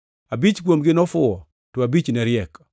Abich kuomgi nofuwo, to abich ne riek.